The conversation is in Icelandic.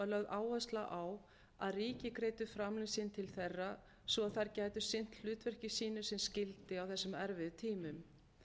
áhersla á að ríki greiddu framlög sín til þeirra svo að þær gætu sinnt hlutverki sínu sem skyldi á þessum erfiðu tímum